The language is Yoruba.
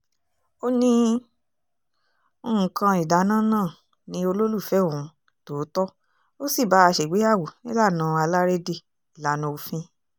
ó ní nǹkan ìdáná náà ni olólùfẹ́ òun tòótọ́ ó sì bá a ṣègbéyàwó nílànà alárédè ìlànà òfin